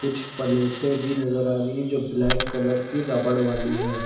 कुछ पलेटे भी नजर आ रही है जो ब्लैक कलर की रबड़ वाली है।